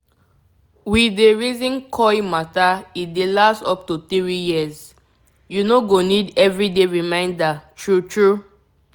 we dey reason coil matter e dey last up to 3yrs -- u no go need everyday reminder true true.